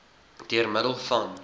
deur middel van